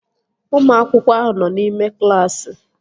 Ụmụ akwụkwọ ahụ nọ n'ime klaasị